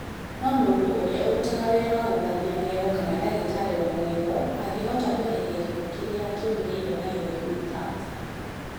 No mũndũ ũrĩa ũrutaga wĩra wa gũthambia magego kana ndagĩtarĩ wa magego angĩhota kweheria gĩko kĩrĩa kĩũmĩrĩre magego-inĩ (tartar)